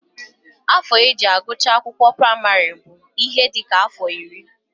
Afọ e ji agụcha akwụkwọ praịmarị bụ ihe dị ka afọ iri